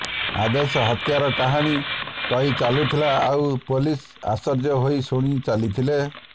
ଆଦେଶ ହତ୍ୟାର କାହାଣୀ କାହି ଚାଲିଥିଲା ଆଉ ପୋଲିସ୍ ଆଶ୍ଚର୍ୟ୍ୟ ହୋଇ ଶୁଣିଚାଲିଥିଲା